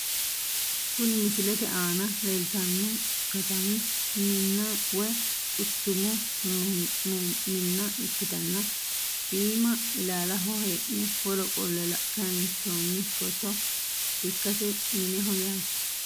Kuni misilete aana leeltano katami minna woyi quchchumu mumma ikitana iima ilaalaho heene woro qolle kayinsooni foto ikase mineho yaate.